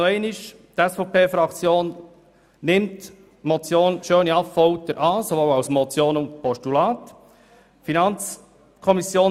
Die SVP-Fraktion nimmt den Vorstoss Schöni-Affolter sowohl als Motion wie auch als Postulat an.